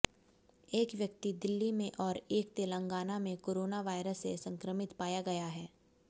एक व्यक्ति दिल्ली में और एक तेलंगाना में कोरोना वायरस से संक्रमित पाया गया है